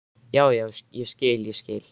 Já, já, ég skil, ég skil.